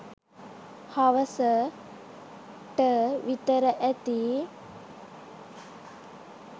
හවස . ට විතර ඇති